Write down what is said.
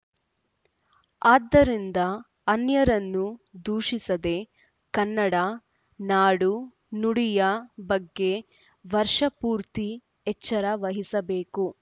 ಆದ್ದರಿಂದ ಅನ್ಯರನ್ನು ದೂಷಿಸದೆ ಕನ್ನಡ ನಾಡುನುಡಿಯ ಬಗ್ಗೆ ವರ್ಷ ಪೂರ್ತಿ ಎಚ್ಚರ ವಹಿಸಬೇಕು